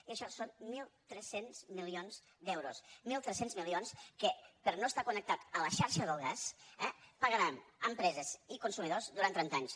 i això són mil tres cents milions d’euros mil tres cents milions que per no estar connectat a la xarxa del gas eh pagaran empreses i consumidors durant trenta anys